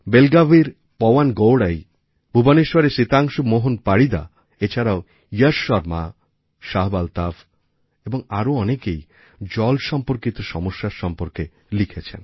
Belgavir Pawan গৌড়াই ভুবনেশ্বরের সিতাংশু মোহন পারিদা এছাড়াও ইয়াশ শর্মা শাহাব আলতাফ এবং আরও অনেকেই জল সম্পর্কিত সমস্যার সম্বন্ধে লিখেছেন